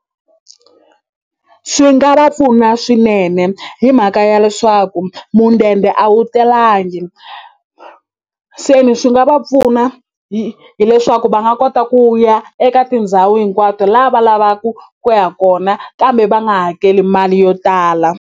Swi nga va pfuna swinene hi mhaka ya leswaku a wu talangi se ni swi nga va pfuna hi hileswaku va nga kota ku ya eka tindhawu hinkwato la va lavaku ku ya kona kambe va nga hakeli mali yo tala.